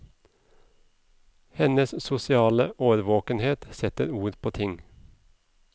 Hennes sosiale årvåkenhet setter ord på ting.